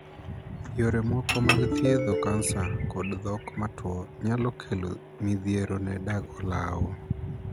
Yore moko mag thiedho kansa kod thok matwo nyalo kelo midhiero ne dag olaw.